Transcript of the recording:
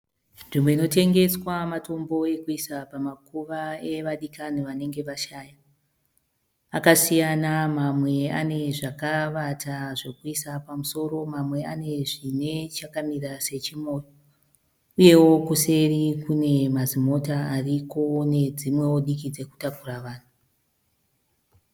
Nzvimbo inotengesa matombo pamakuva pevadikani vanenge vashaya. Akasiyana , mamwe ane zvakara.